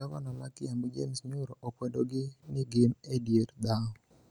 Gavana ma Kiambu, James Nyoro, okwedo ni gin e dier dhao